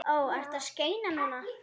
Ó: Ertu að skeina núna?